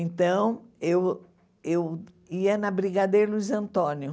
Então, eu eu ia na Brigadeiro Luiz Antônio.